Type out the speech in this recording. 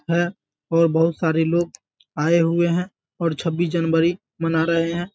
है और बहुत सारे लोग आये हुए हैं और छबीस जनवरी मना रहें हैं।